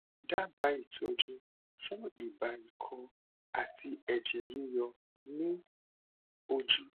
dábàá ìtọjú fún ibà ikọ àti ẹjẹ yíyọ ní ojú